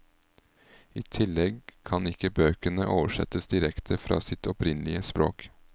I tillegg kan ikke bøkene oversettes direkte fra sitt opprinnelige språk.